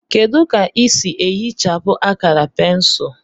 Kedu ka ị sị ehichapụ akara pensụl